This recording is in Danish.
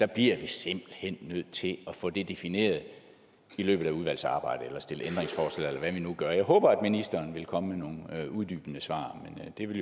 bliver vi simpelt hen nødt til at få det defineret i løbet af udvalgsarbejdet eller stille ændringsforslag eller hvad vi nu gør jeg håber at ministeren vil komme med nogle uddybende svar men det vil